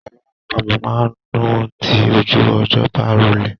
Alọ àpamọ máa n dùn tí ojú ọjọ́ bá rọlẹ̀.